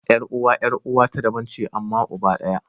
Yar uwa 'yar uwa ta daban ce amma uba ɗaya.